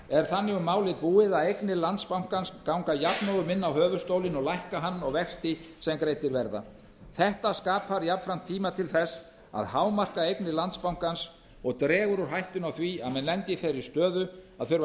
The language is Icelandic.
er þannig um málið búið að eignir landsbankans ganga jafnóðum inn á höfuðstólinn og lækka hann og vexti sem greiddir verða þetta skapar jafnframt tíma til þess að hámarka eignir landsbankans og dregur úr hættunni á því að menn lendi í þeirri stöðu að þurfa að